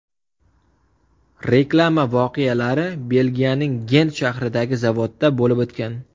Reklama voqealari Belgiyaning Gent shahridagi zavodda bo‘lib o‘tgan.